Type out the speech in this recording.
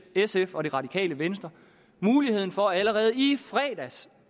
sf og det radikale venstre muligheden for allerede i fredags